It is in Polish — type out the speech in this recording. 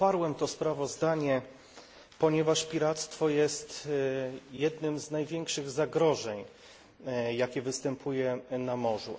Poparłem to sprawozdanie, ponieważ piractwo jest jednym z największych zagrożeń, jakie występują na morzu.